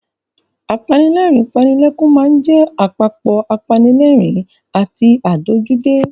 Apanilẹ́rìn-ín-panilẹ́kún máa ń jẹ apapọ̀ apanilẹ́rìn-ín àti ládojúdé.